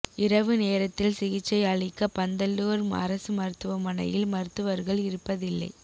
இரவு நேரத்தில் சிகிச்சை அளிக்க பந்தலூர் அரசு மருத்துவமனையில் மருத்துவர்கள் இருப்பதில்லை